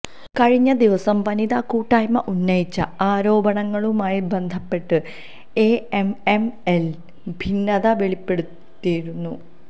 കഴിഞ്ഞ ദിവസം വനിതാ കൂട്ടായ്മ ഉന്നയിച്ച ആരോപണങ്ങളുമായി ബന്ധപ്പെട്ട് എഎംഎംഎയില് ഭിന്നത വെളിപ്പെട്ടിരുന്നു